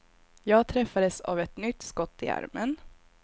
Jag träffades av ett nytt skott i armen.